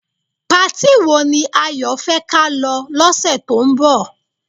Patí wo ni Ayo fẹ́ ka lọ lọ́sẹ̀ tó ń bọ̀?